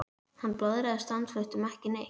Hann blaðraði stanslaust um ekki neitt.